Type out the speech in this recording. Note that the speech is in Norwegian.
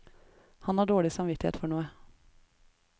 Han har dårlig samvittighet for noe.